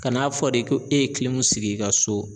Ka n'a fɔ de ko e ye sigi i ka so